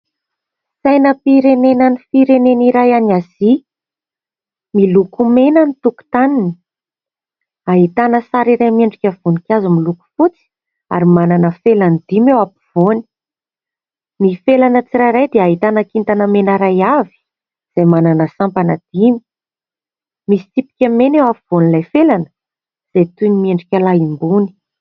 Sainam-pirenena an'ny firenena iray any Azia, miloko mena ny tokotaniny, ahitana sary iray miendrika voninkazo miloko fotsy ary manana felany dimy eo ampovoany. Ny felana tsirairay dia ahitana kintana mena iray avy, izay manana sampana dimy. Misy tsipika mena eo ampovoan'ilay felana, izay toy ny miendrika lanimboany.